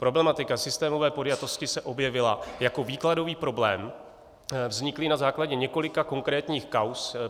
Problematika systémové podjatosti se objevila jako výkladový problém vzniklý na základě několika konkrétních kauz.